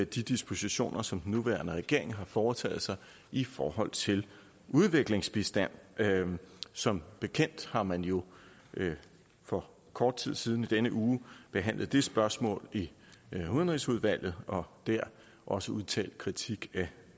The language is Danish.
de dispositioner som den nuværende regering har foretaget i forhold til udviklingsbistand som bekendt har man jo for kort tid siden i denne uge behandlet det spørgsmål i udenrigsudvalget og der også udtalt kritik af